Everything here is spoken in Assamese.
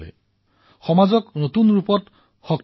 সামূহিক জীৱনেই এক নতুন সামৰ্থ প্ৰদান কৰে